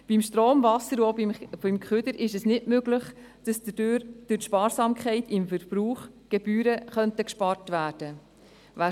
Bei Strom, Wasser und auch beim Kehricht, ist es nicht möglich, dass durch Sparsamkeit im Verbrauch Gebühren gespart werden können.